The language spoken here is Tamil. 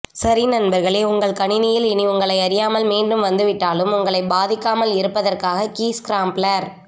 சரி நண்பர்களே உங்கள் கணினியில் இனி உங்களை அறியாமல் மீண்டும் வந்துவிட்டாலும் உங்களை பாதிக்காமல் இருப்பதற்காக கீ ஸ்கிராம்பிலர்